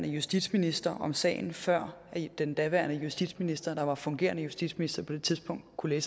justitsminister om sagen før den daværende justitsminister der var fungerende justitsminister på det tidspunkt kunne